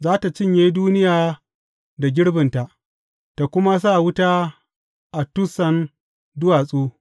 Za tă cinye duniya da girbinta, tă kuma sa wuta a tussan duwatsu.